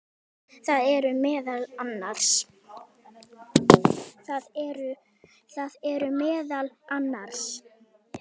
Það eru meðal annars